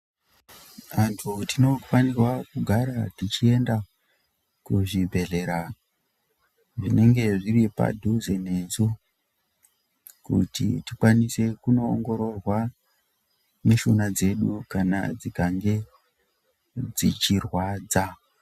Antu tinofanirwa kugara tichienda kuzvibhedhlera zvinenge zviri padhuze nesu kuti tikwanise kushungurudza dzichirwadza.